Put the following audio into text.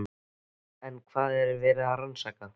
En hvað er verið að rannsaka?